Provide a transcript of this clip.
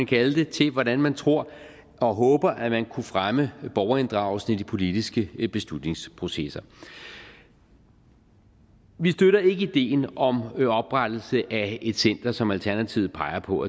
kalde det til hvordan man tror og håber at man kunne fremme borgerinddragelse i de politiske beslutningsprocesser vi støtter ikke ideen om oprettelse af et center som alternativet peger på